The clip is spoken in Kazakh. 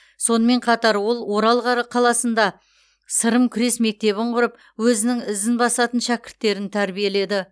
сонымен қатар ол орал қаласында сырым күрес мектебін құрып өзінің ізін басатын шәкірттерін тәрбиеледі